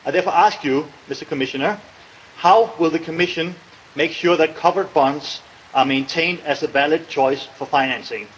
I therefore ask you, Commissioner how will the Commission make sure that covered bonds are maintained as a valid choice for financing?